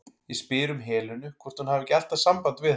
Ég spyr um Helenu, hvort hún hafi ekki alltaf samband við hana?